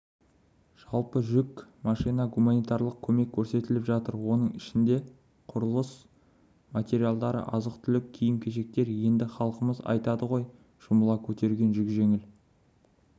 жалпы жүк машина гуманитарлық көмек көрсетіліп жатыр оның ішінде құрылыс материалдары азық-түлік киім-кешектер енді халқымыз айтады ғой жұмыла көтерген жүк жеңіл